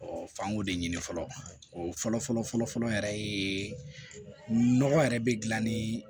f'an k'o de ɲini fɔlɔ o fɔlɔfɔlɔ yɛrɛ ye nɔgɔ yɛrɛ bɛ dilan ni